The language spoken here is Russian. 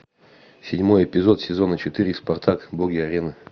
седьмой эпизод сезона четыре спартак боги арены